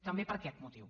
també per aquest motiu